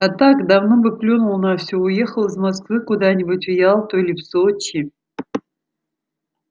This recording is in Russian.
а так давно бы плюнул на всё уехал из москвы куда-нибудь в ялту или в сочи